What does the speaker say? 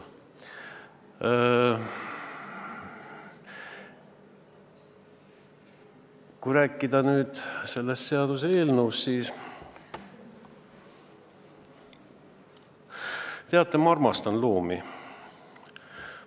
Kui rääkida sellest seaduseelnõust, siis võin öelda, et teate, ma armastan loomi.